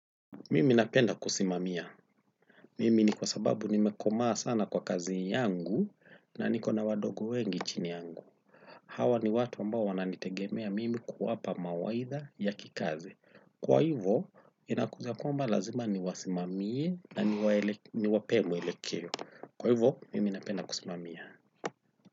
Mimi napenda kusimamia. Mimi ni kwa sababu nimekomaa sana kwa kazi yangu na ni kona wadogo wengi chini yangu. Hawa ni watu ambao wananitegemea mimi kuwapa mawaitha ya kikazi. Kwa hivo, inakuja kwamba lazima niwasimamie na niwapee mwelekeo. Kwa hivo, mimi napenda kusimamia.